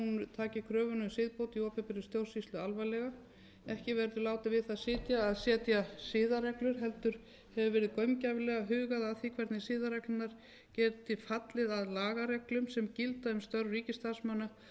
taki kröfuna um siðbót í opinberri stjórnsýslu alvarlega ekki verði látið við það sitja að setja siðareglur heldur hefur verið gaumgæfilega hugað að því hvernig siðareglurnar geti fallið að lagareglum sem gilda um störf ríkisstarfsmanna